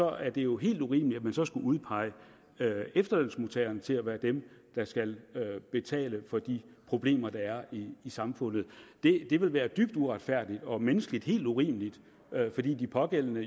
er det jo helt urimeligt at man så skulle udpege efterlønsmodtagerne til at være dem der skal betale for de problemer der er i samfundet det vil være dybt uretfærdigt og menneskeligt helt urimeligt fordi de pågældende